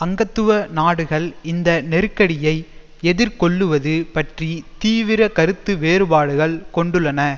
அங்கத்துவ நாடுகள் இந்த நெருக்கடியை எதிர்கொள்ளுவது பற்றி தீவிர கருத்து வேறுபாடுகள் கொண்டுள்ளன